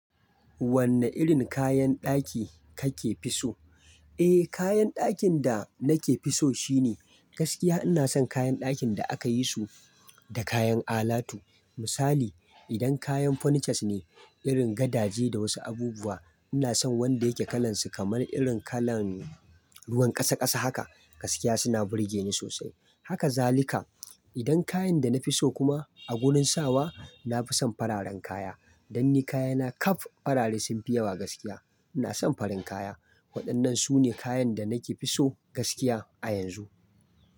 Wanne irin kayan ɗaki kake fi so? Eh, kayan ɗakin da nake fi so shine gaskiya ina son kayan ɗakin da aka yi su da kayan alatu. Misali, idan kayan furnitures ne, irin gadaje da wasu abubuwa, ina son wanda yake kalan su kamar irin kalan ruwan ƙasa ƙasa haka. Gaskiya suna burge ni sosai. Haka zalika. Idan kayan da na fi so kuma a wurin sawa, na fi son fararen kaya. Dan ni kayana kaf farare sun fi yawa gaskiya. Ina son farin kaya. Waɗannan su ne kayan da nake fi so gaskiya a yanzu.